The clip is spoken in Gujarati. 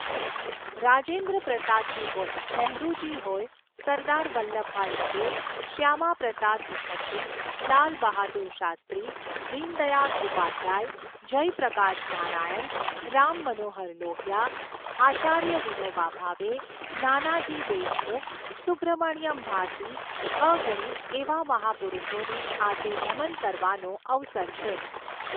રાજેન્દ્ર પ્રસાદજી હોય, નહેરૂજી હોય, સરદાર વલ્લભભાઈ પટેલ, શ્યામાપ્રસાદ મુખર્જી, લાલબહાદુર શાસ્ત્રી, દીનદયાળ ઉપાધ્યાય, જયપ્રકાશ નારાયણ, રામ મનોહર લોહિયા, આચાર્ય વિનોબા ભાવે, નાનાજી દેશમુખ, સુબ્રહ્મણ્યમ ભારતી, અગણિત એવા મહાપુરુષોને આજે નમન કરવાનો અવસર છે.